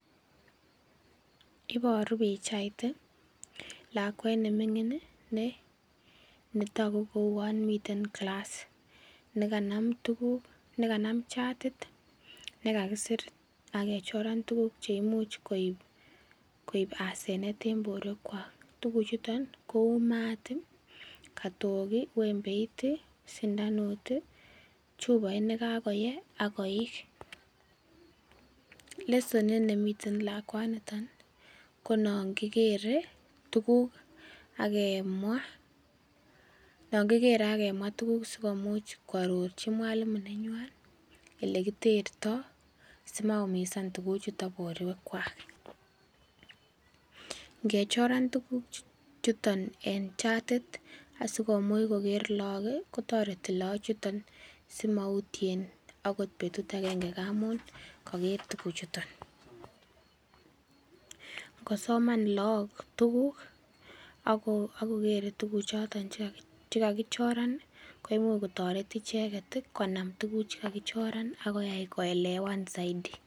Iboru pichait ii lakwet ne mining ii ne toku kouon miten class, nekanam tukuk nekanam chatit ne kakisir ak kechoran tukuk che imuch koip asenet eng borwekwak, tukuchuton kou maat ii, katok ii, wembeit ii, sindanut ii, chupait ne kakoyei ak koik. Lesonit ne miten lakwaniton, ko nongikere tukuk ak kemwa, nongikere ak kemwa tukuk sikomuch kwarorchi mwalimu nenywan ele kitertoi, simaumisan tukuchutok borwekwak, ngechoran tukuchuton en chatit asikomuch koker lagok ii kotoreti lagochuton simautien akot betut akenge ngamun kaker tuguchuton, ngosoman lagok tukuk ak kokere tukuchoton che kakichoran ii, koimuch kotoret icheket ii konam tukuk che kakichoran ak koyai koelewen zaidi.